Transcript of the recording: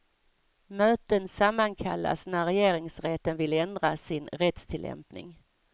Möten sammankallas när regeringsrätten vill ändra sin rättstillämpning.